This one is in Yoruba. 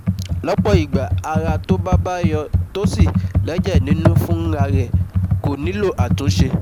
Lọ́pọ̀ ìgbà ara tó bá bá yó tó sì lẹ́jẹ̀ nínú fún ra rẹ̀, kò nílò àtúnṣe